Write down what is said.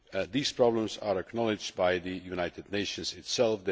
These problems are acknowledged by the United Nations itself.